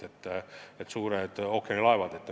Seal on suured ookeanilaevad.